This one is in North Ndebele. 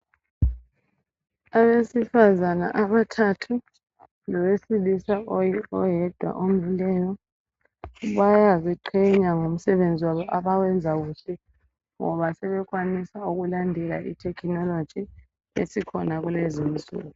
Abesifazana abathathu lowesilisa oyedwa omileyo bayaziqhenya ngomsebenzi wabo abawenzayo ngoba sebekwanisa ukulandela itechnology esikhona kulezinsuku.